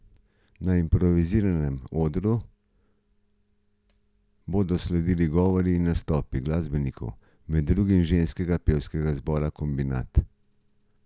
Na improviziranem odru bodo sledili govori in nastopi glasbenikov, med drugim ženskega pevskega zbora Kombinat.